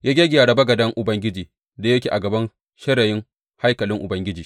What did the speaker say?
Ya gyaggyara bagaden Ubangiji da yake a gaban shirayin haikalin Ubangiji.